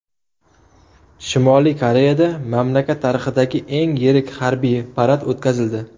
Shimoliy Koreyada mamlakat tarixidagi eng yirik harbiy parad o‘tkazildi .